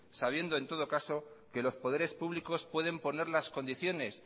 sabiendo en todo caso que los poderes públicos pueden poner las condiciones